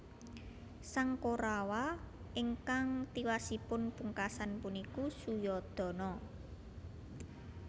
Sang Korawa ingkang tiwasipun pungkasan puniku Suyodana